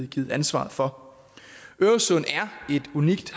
givet ansvar for øresund er et unikt